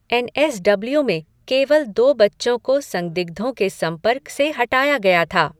N S W में केवल दो बच्चों को संदिग्धों के संपर्क से हटाया गया था।